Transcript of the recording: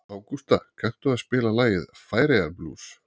Ágústa, kanntu að spila lagið „Færeyjablús“?